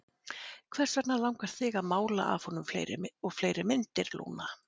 Hvers vegna langar þig til að mála af honum fleiri og fleiri myndir, Lúna?